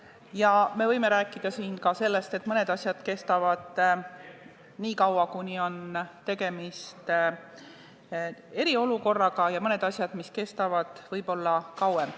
Ja me võime siin rääkida ka sellest, et mõned lahendused kestavad nii kaua, kuni on tegemist eriolukorraga, ja mõned kestavad võib-olla kauem.